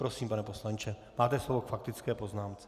Prosím, pane poslanče, máte slovo k faktické poznámce.